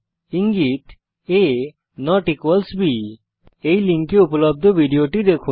ইঙ্গিত আ বি এই লিঙ্কে উপলব্ধ ভিডিওটি দেখুন